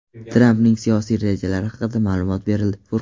Trampning siyosiy rejalari haqida ma’lumot berildi.